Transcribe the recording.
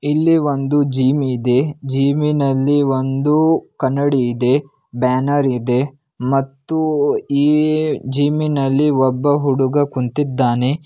ಇಲ್ಲಿ ಒಂದು ಜಿಮ್ ಇದೆ. ಜಿಮ್ಮಿನಲ್ಲಿ ಒಂದು ಕನ್ನಡಿ ಇದೆ ಬ್ಯಾನರ್ ಇದೆ ಮತ್ತು ಉಹ್ ಈ ಜಿಮ್ಮಿನಲ್ಲಿ ಒಬ್ಬ ಹುಡುಗ ಕುಂತಿದ್ದಾನೆ.